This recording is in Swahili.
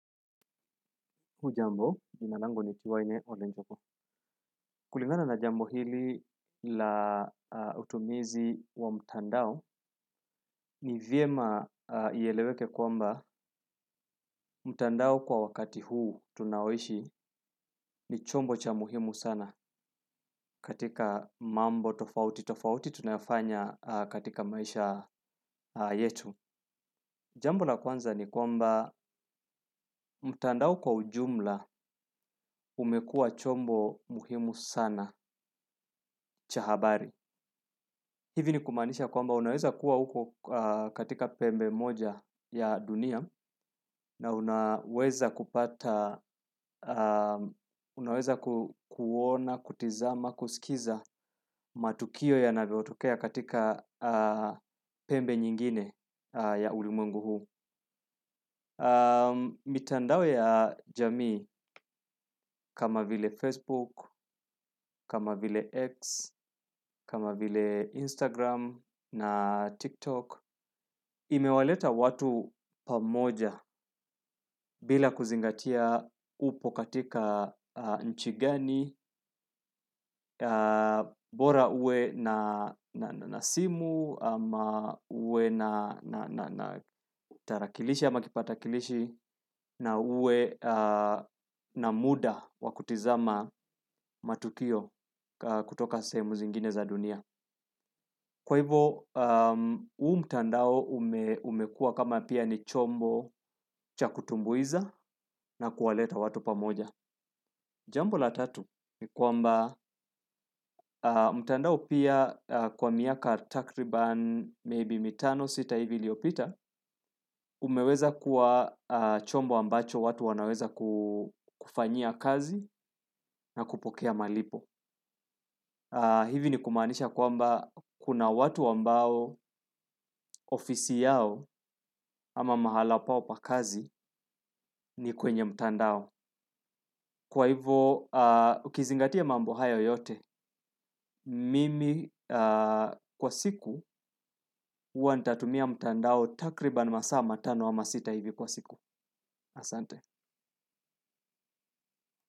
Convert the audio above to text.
Hujambo jina langu ni tiwaine olenjogu. Kulingana na jambo hili la utumizi wa mtandao ni vyema ieleweke kwamba mtandao kwa wakati huu tunaoishi ni chombo cha muhimu sana katika mambo tofauti. Tofauti tunafanya katika maisha yetu. Jambo la kwanza ni kwamba mtandao kwa ujumla umekuwa chombo muhimu sana cha habari. Hivi ni kumaanisha kwamba unaweza kuwa uko katika pembe moja ya dunia na unaweza kupata unaweza kuona, kutizama, kusikiza matukio yanavyotokea katika pembe nyingine ya ulimwengu huu. Mitandao ya jamii kama vile Facebook, kama vile X, kama vile Instagram na TikTok. Imewaleta watu pamoja bila kuzingatia upo katika nchi gani, bora uwe na simu, uwe na tarakilishi ya ama kipatakilishi, na uwe na muda wa kutizama matukio kutoka sehemu zingine za dunia. Kwa hivo, huu mtandao umekuwa kama pia ni chombo cha kutumbuiza na kuwaleta watu pamoja. Jambo la tatu ni kwamba mtandao pia kwa miaka takriban maybe mitano sita hivi iliopita, umeweza kuwa chombo ambacho watu wanaweza kufanyia kazi na kupokea malipo. Hivi ni kumaanisha kwamba kuna watu ambao ofisi yao ama mahala pao pa kazi ni kwenye mtandao. Kwa hivo, ukizingatia mambo hayo yote, mimi kwa siku huwa nitatumia mtandao takriban masaa matano ama masita hivi kwa siku. Asante.